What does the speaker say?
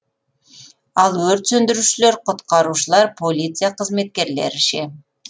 ал өрт сөндірушілер құтқарушылар полиция қызметкерлері ше